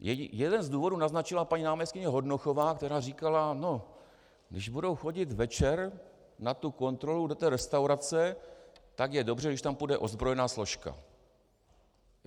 Jeden z důvodů naznačila paní náměstkyně Hornochová, která říkala: No, když budou chodit večer na tu kontrolu do té restaurace, tak je dobře, když tam půjde ozbrojená složka.